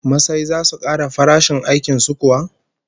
Masai zasu kara farashin aikin su kuwa?